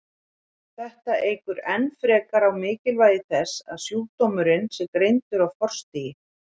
Þetta eykur enn frekar á mikilvægi þess að sjúkdómurinn sé greindur á forstigi.